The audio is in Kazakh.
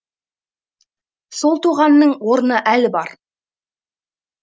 сол тоғанның орны әлі бар